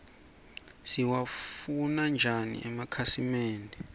siwafune njau emakitnsimende